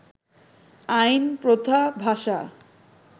আইন, প্রথা, ভাষা